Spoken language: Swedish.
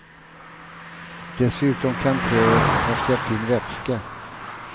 Dessutom kan träet ha släppt in vätska.